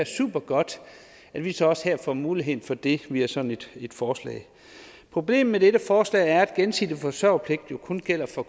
supergodt at vi så også her får muligheden for det via sådan et forslag problemet med dette forslag er at gensidig forsørgerpligt jo kun gælder for